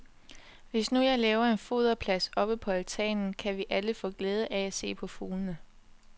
Hvis nu jeg laver en foderplads oppe på altanen, kan vi alle få glæde af at se på fuglene.